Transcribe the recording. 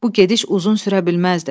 Bu gediş uzun sürə bilməzdi.